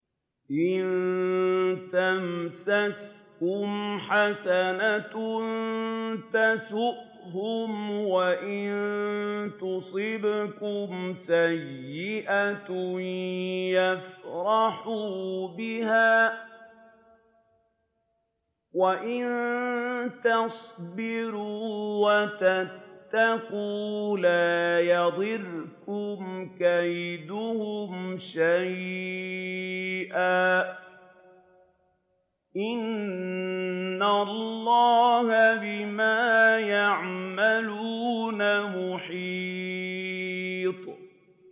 إِن تَمْسَسْكُمْ حَسَنَةٌ تَسُؤْهُمْ وَإِن تُصِبْكُمْ سَيِّئَةٌ يَفْرَحُوا بِهَا ۖ وَإِن تَصْبِرُوا وَتَتَّقُوا لَا يَضُرُّكُمْ كَيْدُهُمْ شَيْئًا ۗ إِنَّ اللَّهَ بِمَا يَعْمَلُونَ مُحِيطٌ